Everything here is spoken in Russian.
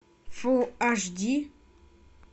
фулл аш ди